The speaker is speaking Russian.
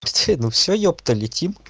всё ну всё ёпта летим